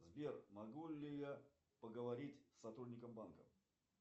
сбер могу ли я поговорить с сотрудником банка